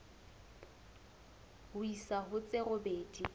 ho isa ho tse robedi